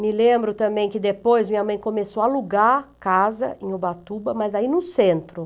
Me lembro também que depois minha mãe começou a alugar casa em Ubatuba, mas aí no centro.